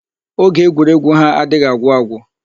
Oge egwuregwu ha adịghị agwụ agwụ.